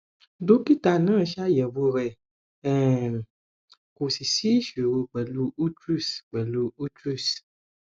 dókítà náà ṣàyẹwò rẹ um kò sì sí ìṣòro pẹlú utrus pẹlú utrus